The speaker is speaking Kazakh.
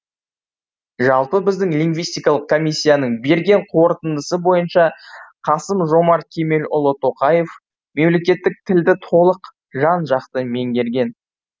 жалпы біздің лингвистикалық комиссияның берген қорытындысы бойынша қасым жомарт кемелұлы тоқаев мемлекеттік тілді толық жан жақты меңгерген